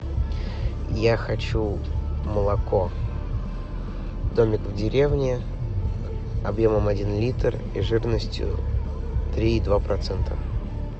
я хочу молоко домик в деревне объемом один литр и жирностью три и два процента